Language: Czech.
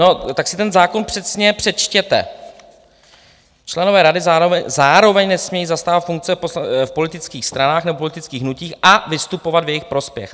No, tak si ten zákon přesně přečtěte: "Členové rady zároveň nesmějí zastávat funkce v politických stranách nebo politických hnutích a vystupovat v jejich prospěch."